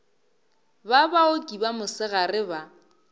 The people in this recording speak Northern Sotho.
ba baoki ba mosegare ba